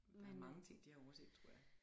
Der er mange ting de har overset tror jeg